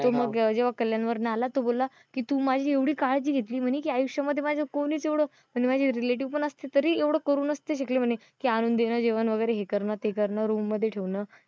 तो मग जेंव्हा कल्याण वरण आला तो बोलला कि तू माझी एवढी काळजी घेतली म्हणे कि आयुष्यामध्ये माझे कोणीच एवढं म्हणजे माझे relative असते तरी एवढं करू नसते शकले णे कि आणून देणं जेवण वगैरे हे करणं ते करणं room मध्ये ठेवणं.